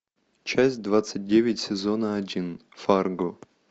часть двадцать девять сезона один фарго